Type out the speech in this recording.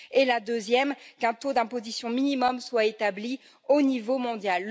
Et la deuxième qu'un taux d'imposition minimum soit établi au niveau mondial.